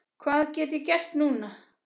Hvað get ég gert núna?